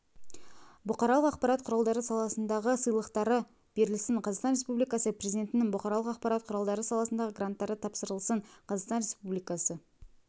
бұқаралық ақпарат құралдары саласындағы сыйлықтары берілсін қазақстан республикасы президентініңбұқаралық ақпарат құралдары саласындағы гранттары тапсырылсын қазақстан республикасы